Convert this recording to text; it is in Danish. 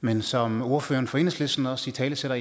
men som ordføreren for enhedslisten også italesætter